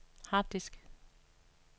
harddisk